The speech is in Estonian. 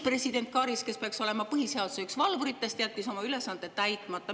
President Karis, kes peaks olema üks põhiseaduse valvuritest, jättis oma ülesande täitmata.